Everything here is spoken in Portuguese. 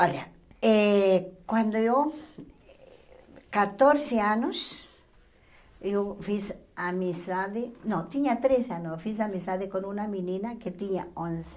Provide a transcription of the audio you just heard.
Olha, eh quando eu, quatorze anos, eu fiz amizade, não, tinha treze anos, eu fiz amizade com uma menina que tinha onze